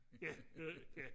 ja ja